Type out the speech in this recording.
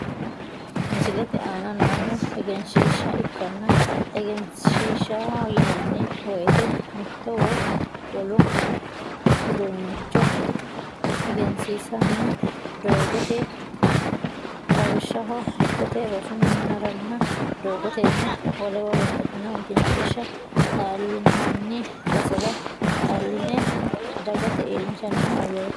Misilete aana noohu egensiishsha ikkana, egensiishshaho yinanni woyite mitto coye woy uduunnicho egensiinsanni doogoti. Lawishshsaho dikkoote, rosu minnaara , doogotenna woleno babbaxitino egensiishsha xallinanni basera xalline dagate iillinshanni hayyooti.